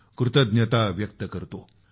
कृतज्ञता व्यक्त करतो